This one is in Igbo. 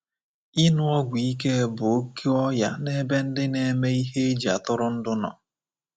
Ịṅụ ọgwụ ike bụ oke ọya n'ebe ndị na-eme ihe eji atụrụndụ nọ.